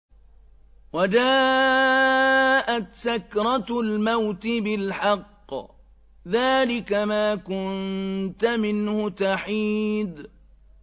وَجَاءَتْ سَكْرَةُ الْمَوْتِ بِالْحَقِّ ۖ ذَٰلِكَ مَا كُنتَ مِنْهُ تَحِيدُ